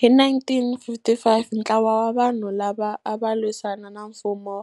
Hi 1955 ntlawa wa vanhu lava ava lwisana na nfumo